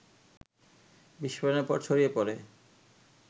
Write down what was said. বিস্ফোরণের পর ছড়িয়ে পড়ে